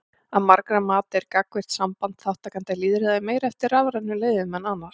Að margra mati er gagnvirkt samband þátttakenda í lýðræði meira eftir rafrænum leiðum en annars.